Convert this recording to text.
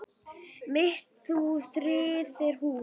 mitt þú friðar hús.